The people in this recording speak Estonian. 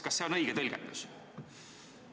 Kas see on õige tõlgendus?